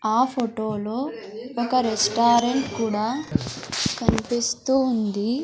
ఆ ఫొటో లో ఒక రెస్టారెంట్ కూడా కన్పిస్తూ ఉంది.